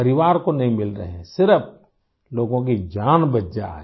परिवार को नहीं मिल रहे हैं सिर्फ़ लोगों की जान बच जाए